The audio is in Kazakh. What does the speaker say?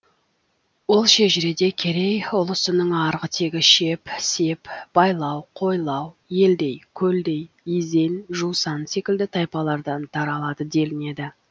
ол шежіреде керей ұлысының арғы тегі шеп сеп байлау қойлау елдей көлдей изен жусан секілді тайпалардан таралады делінеді